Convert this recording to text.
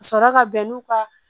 Ka sɔrɔ ka bɛn n'u ka